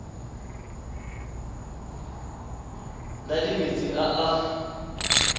na le metsi a a